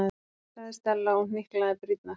sagði Stella og hnyklaði brýnnar.